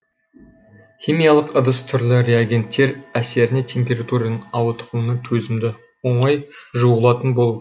химиялық ыдыс түрлі реагенттер әсеріне температураның ауытқуына төзімді оңай жуылатын болуы